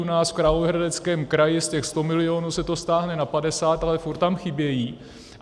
U nás v Královéhradeckém kraji z těch 100 milionů se to stáhne na 50, ale furt tam chybějí.